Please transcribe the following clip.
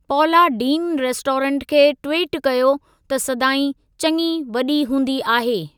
पौला Deen restaurant खे tweet कयो त सदाईं चङी वॾी हूंदी आहे।